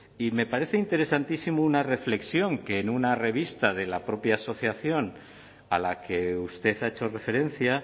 y me parece interesantísimo una reflexión que en una revista de la propia asociación a la que usted ha hecho referencia